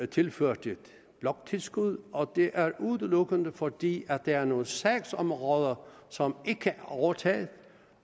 tilført et bloktilskud og det er udelukkende fordi der er nogle sagsområder som ikke er overtaget